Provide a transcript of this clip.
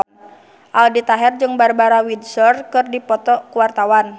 Aldi Taher jeung Barbara Windsor keur dipoto ku wartawan